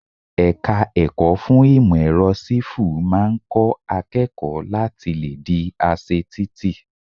Ẹ̀ka ẹ̀kọ́ fún ìmò èrọ Sífù máa ń kọ́ akẹ́kọ̀ọ́ láti le di aṣe títì.